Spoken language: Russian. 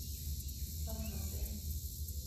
сан хосе